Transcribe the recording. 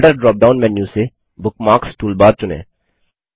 folder dropdown menu से bookmarks toolbar चुनें